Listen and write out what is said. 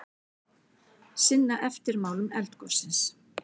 Sinna eftirmálum eldgossins